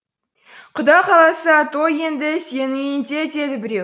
құда қаласа той енді сенің үйінде деді біреу